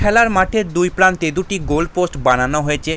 খেলার মাঠে দুই প্রান্তে দুটি গোল পোস্ট বানানো হয়েছে।